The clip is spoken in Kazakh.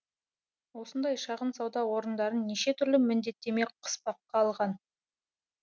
осындай шағын сауда орындарын неше түрлі міндеттеме қыспаққа алған